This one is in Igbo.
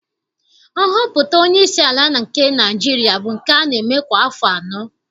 Nhọpụta onyeisi ala nke Naịjirịa bụ nke a na-eme kwa afọ anọ